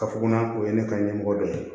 Ka fɔ ko o ye ne ka ɲɛmɔgɔ dɔ ye